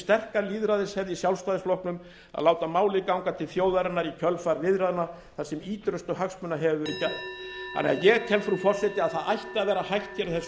sterka lýðræðishefð í sjálfstæðisflokknum að láta málið ganga til þjóðarinnar í kjölfar viðræðna þar sem forustu hagsmuna hefur verið gætt ég tel frú forseti að það ætti að vera hægt á þessu þingi